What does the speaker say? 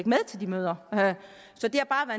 med til de møder så det har